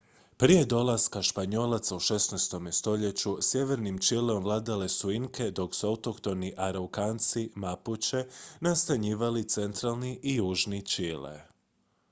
prije dolaska španjolaca u 16. stoljeću sjevernim čileom vladale su inke dok su autohtoni araukanci mapuče nastanjivali centralni i južni čile